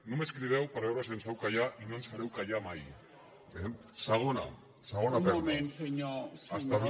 només crideu per veure si ens feu callar i no ens fareu callar mai eh segona segona perla